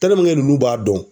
nunnu b'a dɔn